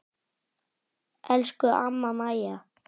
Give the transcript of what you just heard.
Elsku amma Mæja.